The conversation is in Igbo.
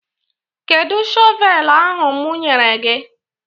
Kedụ shọvelu ahụ mụ nyere gị?